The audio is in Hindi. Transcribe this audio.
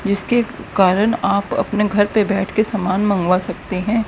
जिसके कारण आप अपने घर पे बैठ के सामान मंगवा सकते हैं।